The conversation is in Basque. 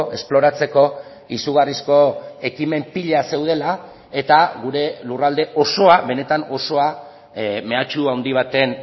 esploratzeko izugarrizko ekimen pila zeudela eta gure lurralde osoa benetan osoa mehatxu handi baten